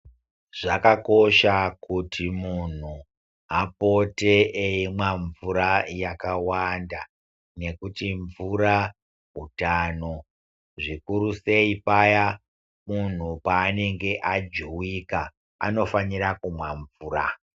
Zvakakosha kuti muntu apote eimwa mvura yakawanda nekuti mvura hutano zvikurusei paya muntu paanenge ajuwika anofanira kumwa mvura.